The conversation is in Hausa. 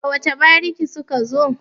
daga wace bariki suka zo?